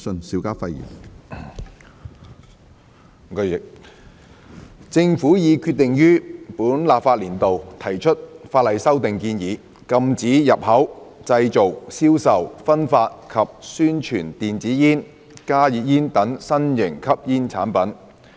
主席，政府已決定於本立法年度提出法例修訂建議，禁止入口、製造、銷售、分發及宣傳電子煙、加熱煙等新型吸煙產品。